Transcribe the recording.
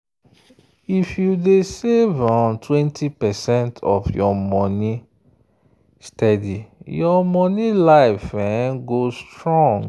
if you dey save 20 percent of your money steady your money life go strong.